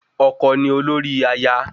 Ọkọ ni olórí aya